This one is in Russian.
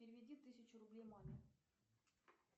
переведи тысячу рублей маме